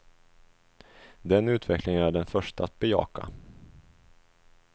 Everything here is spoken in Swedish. Den utvecklingen är jag den förste att bejaka.